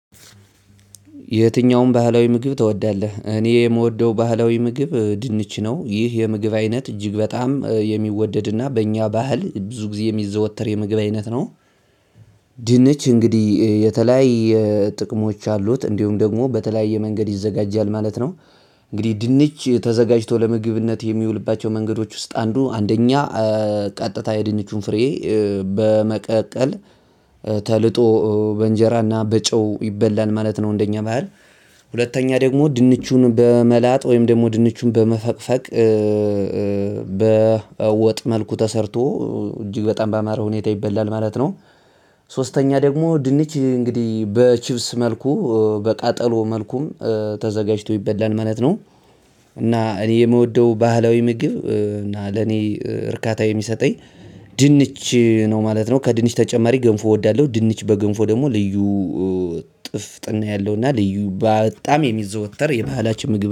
የትኛውን ባህላዊ ምግብ ትወዳለህ? እኔ የምወደው ባህላዊ ምግብ እ ድንች ነው ይህ የምግብ አይነት እጅግ በጣም የሚወደድና በእኛ ባህል ብዙ ጊዜ የሚዘወተር የምግብ አይነት ነው። ድንች እንግዲህ እ የተለያየ ጥቅሞች አሉት እንዲሁም ደግሞ በተለያየ መንገድ ይዘጋጃል ማለት ነው። እንግዲህ ድንች እ ተዘጋጅቶ ለምግብነት የሚውልባቸው መንገዶች ውስጥ አንዱ አንደኛ እ ቀጥታ የድንቹን ፍሬ በመቀቀል ተልጦ እ በእንጀራና በጨው ይበላል ማለት ነው። እንደኛ ባህል። ሁለተኛ ደግሞ ድንቹን በመላጥ ወይም ደግሞ ድንቹን በመፈቅፈቅ እ እ በወጥ መልኩ ተሰርቶ እ እጅግ በጣም ባማረ ሁኔታ ይበላል ማለት ነው። ሶስተኛ ደግሞ ድንች እ እንግዲህ በቺፕስ መልኩ እ በቃጠሎ መልኩም እ ተዘጋጅቶ ይበላል ማለት ነው። እና እኔ የምወደው ባህላዊ ምግብ እና ለኔ እ እርካታ የሚሰጠኝ ድንች ነው ማለት ነው። ከድንች ተጨማሪ ገንፎ እወዳለሁ ድንች በገንፎ ደግሞ ልዩ እ ጥፍጥና ያለው እና ልዩ በጣም የሚዘወተር የባህላችን ምግብ